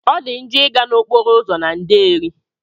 Ọdi njo iga na okporo ụzọ na nderi.